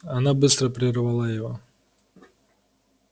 она быстро прервала его